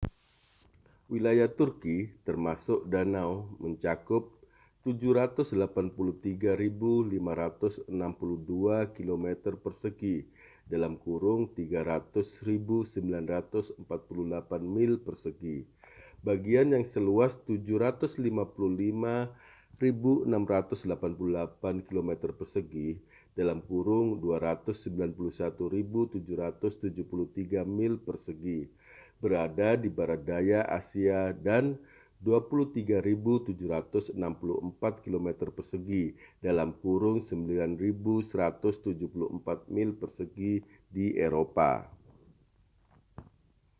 wilayah turki termasuk danau mencakup 783.562 kilometer persegi 300.948 mil persegi bagian yang seluas 755.688 kilometer persegi 291.773 mil persegi berada di barat daya asia dan 23.764 kilometer persegi 9.174 mil persegi di eropa